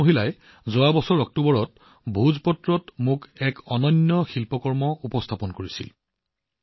এইসকল মহিলাই যোৱা বছৰৰ অক্টোবৰ মাহত ভোজপাত্ৰৰ ওপৰত এক অনন্য শিল্পকৰ্ম মোক উপহাৰ দিছিল